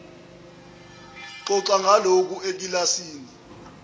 xoxa ngalokhu ekilasini